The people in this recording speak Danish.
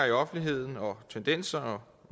i offentligheden og tendenser